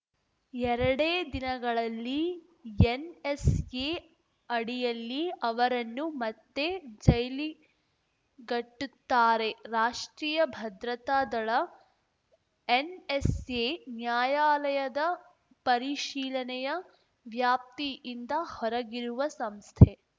ಎರಡೇ ದಿನಗಳಲ್ಲಿ ಎನ್‌ಎಸ್‌ಎ ಅಡಿಯಲ್ಲಿ ಅವರನ್ನು ಮತ್ತೆ ಜೈಲಿಗಟ್ಟುತ್ತಾರೆ ರಾಷ್ಟ್ರೀಯ ಭದ್ರತಾ ದಳ ಎನ್‌ಎಸ್‌ಎ ನ್ಯಾಯಾಲಯದ ಪರಿಶೀಲನೆಯ ವ್ಯಾಪ್ತಿಯಿಂದ ಹೊರಗಿರುವ ಸಂಸ್ಥೆ